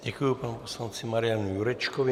Děkuji panu poslanci Marianu Jurečkovi.